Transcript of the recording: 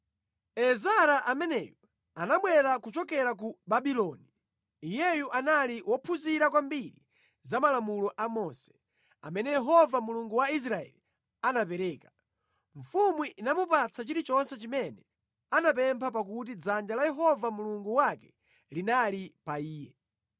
Ezara ameneyu anabwera kuchokera ku Babuloni. Iyeyu anali wophunzira kwambiri za malamulo a Mose, amene Yehova Mulungu wa Israeli anapereka. Mfumu inamupatsa chilichonse chimene anapempha pakuti dzanja la Yehova Mulungu wake linali pa iye.